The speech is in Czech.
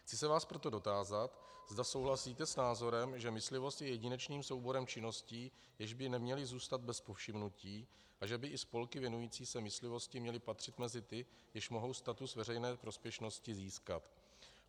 Chci se vás proto dotázat, zda souhlasíte s názorem, že myslivost je jedinečným souborem činností, jež by neměly zůstat bez povšimnutí, a že by i spolky věnující se myslivosti měly patřit mezi ty, jež mohou status veřejné prospěšnosti získat.